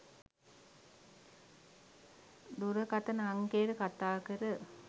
දුරකතන අංකයට කතාකර